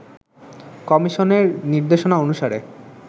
কমিশনের নির্দেশনা অনুসারে